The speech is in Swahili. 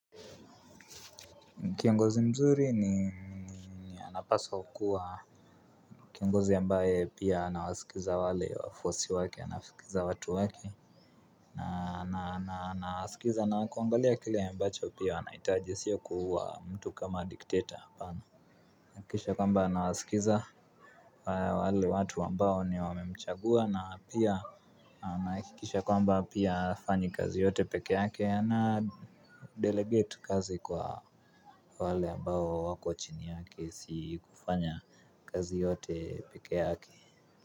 Kiongozi mzuri ni anapaswa kuwa kiongozi ambaye pia anawasikiza wale wafuasi wake anaskiza watu wake na anasikiza na kuangalia kile ambacho pia wanahitaji sio kua mtu kama dictator apana. Nahakikisha kwamba anawasikiza wale watu wambao ni wamemchagua na pia nahakikisha kwamba pia hafanyi kazi yote peke yake. Na delegate kazi kwa wale ambao wako chini yake. Sikufanya kazi yote peke yake.